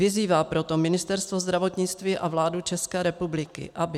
Vyzývá proto Ministerstvo zdravotnictví a vládu České republiky, aby